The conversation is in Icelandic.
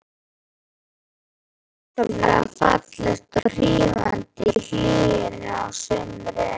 Húsið er ákaflega fallegt og hrífandi í hlýjunni á sumrin.